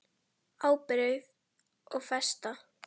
Ábyrgð og festa